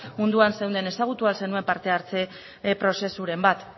munduan zeunden ezagutu al zenuen parte hartze prozesuren bat